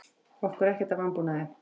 Okkur er ekkert að vanbúnaði.